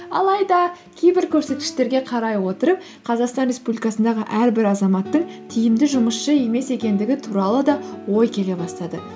алайда кейбір көрсеткіштерге қарай отырып қазақстан республикасындағы әрбір азаматтың тиімді жұмысшы емес екендігі туралы да ой келе бастады